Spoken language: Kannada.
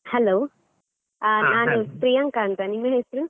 Hello , ಪ್ರಿಯಾಂಕಾ ಅಂತ, ನಿಮ್ ಹೆಸ್ರು?